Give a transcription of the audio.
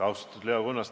Austatud Leo Kunnas!